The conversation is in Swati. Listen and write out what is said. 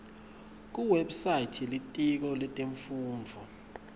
kuwebsite yelitiko letemfundvo